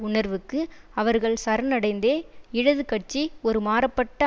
உணர்வுக்கு அவர்கள் சரணடைந்ததே இடது கட்சி ஒரு மாறபட்ட